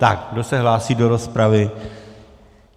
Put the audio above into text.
Tak, kdo se hlásí do rozpravy?